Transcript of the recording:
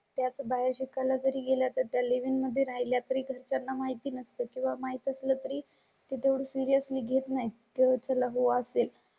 त्याच बाहेर शिकाय ला जरी गेलात तर त्या लिव इन मध्ये राहिल्या तरी घरच्यां ना माहिती नसते किंवा माहित असेल तरी ते तेवढे सिरियसली घेत नाही त्या चला हो असेल.